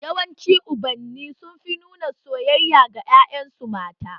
Yawanci Ubanni sun fi nuna soyayya ga ƴaƴan su mata